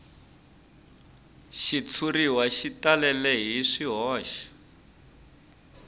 xitshuriwa xi talele hi swihoxo